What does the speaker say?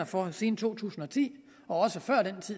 for siden to tusind og ti og